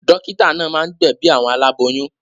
Dọ́kítá náà máa ń gbẹ̀bi àwọn aláboyún.